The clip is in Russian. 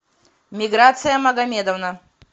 миграция магомедовна